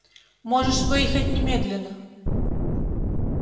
можешь выехать немедленно